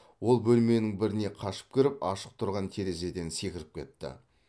ол бөлменің біріне қашып кіріп ашық тұрған терезеден секіріп кетті